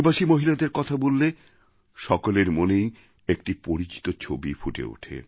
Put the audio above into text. আদিবাসী মহিলাদের কথা বললে সকলের মনেই একটি পরিচিত ছবি ফুটে